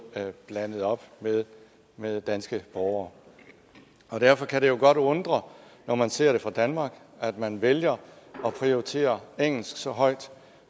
blandet op med danske borgere derfor kan det godt undre når man ser det fra danmark at man vælger at prioritere engelsk så højt